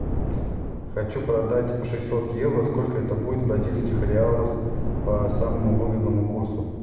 хочу продать шестьсот евро сколько это будет в бразильских реалах по самому выгодному курсу